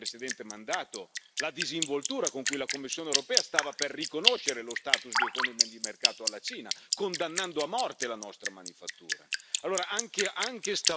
Ricordiamo, nel corso del precedente mandato, la disinvoltura con cui la Commissione europea stava per riconoscere lo status di economia di mercato alla Cina, condannando a morte la nostra manifattura.